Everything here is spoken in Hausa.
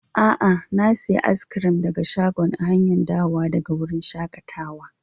Aa, na siya cak daga shagon a hanya dawowa daga wurin shakatawan.